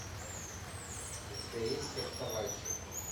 у тебя есть фехтовальщик